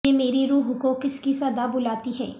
یہ میری روح کو کس کی صدا بلاتی ہے